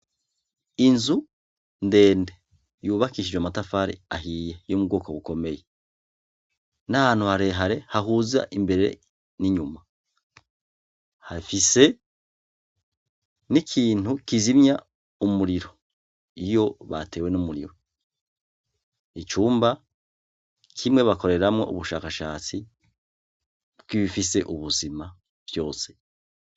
Inzu ndende yubakishije amatafari ahiye yo mu bwoko bukomeye, n'ahantu harehare hahuza imbere n'inyuma, hafise n'ikintu kizimya umuriro iyo batewe n'umuriro, icumba kimwe bakoreramwo ubushakashatsi bw'ibifise ubuzima vyose.